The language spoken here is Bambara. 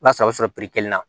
O y'a sɔrɔ a bɛ sɔrɔ kelen na